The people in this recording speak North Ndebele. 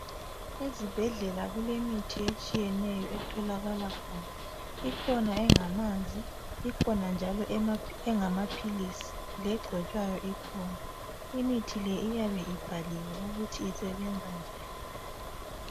Ezibhedlela kulemithi etshiyeneyo etholakala khona, ikhona engamanzi , ikhona njalo engamaphilisi , legcotshwayo ikhona imithi le iyabe ibhaliwe ukuthi isebenza njani